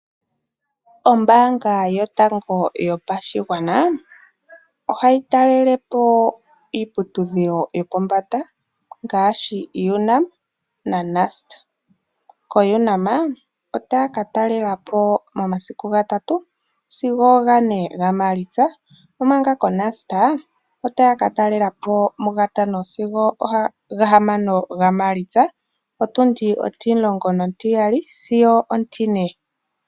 Ombaanga yotango yopashigwana, ohayitalelepo iiputudhilo yopombanda. Ngaashi Unam na Nust ko Unam otaakatalela po momasiku gatatu sigo ga ne ga Maalitsa omanga ko Nust otaakatalela po mu gatano sigo muga hamano ga Maalitsa. Otundi ontimulongo nontiyali sigo ontine.